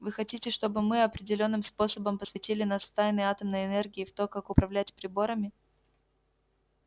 вы хотите чтобы мы определённым способом посвятили нас в тайны атомной энергии и в то как управлять приборами